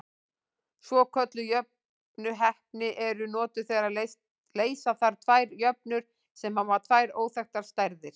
Svokölluð jöfnuhneppi eru notuð þegar leysa þarf tvær jöfnur sem hafa tvær óþekktar stærðir.